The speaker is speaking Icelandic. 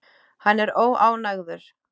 Hann er óánægður.